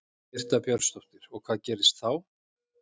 Birta Björnsdóttir: Og hvað gerist þá?